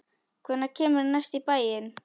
Hvenær kemurðu næst í bæinn?